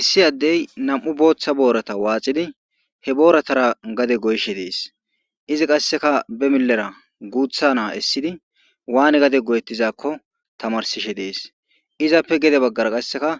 issi addey nam7u booththa boorata waaxidi he booratara gade goyshe dees izi qasseka be milera guutha naa essidi waane gade goyettizakko tamarsishe dees izappe gede baggara qasseka